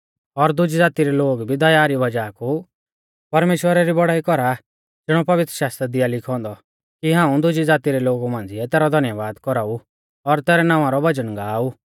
और दुजी ज़ाती रै लोग भी दया री वज़ाह कु परमेश्‍वरा री बौड़ाई कौरा ज़िणौ पवित्रशास्त्रा दी आ लिखौ औन्दौ कि हाऊं दुज़ी ज़ाती रै लोगु मांझ़िऐ तैरौ धन्यबाद कौराउ और तैरै नावां रौ भजन गा ऊ